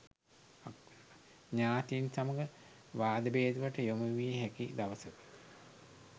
ඥාතීන් සමග වාදභේදවලට යොමුවිය හැකි දවසකි.